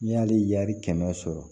N'i y'ale kɛmɛ sɔrɔ